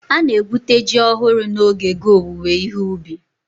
Ana-egwute ji ọhụrụ n'oge ge owuwe ihe ubi.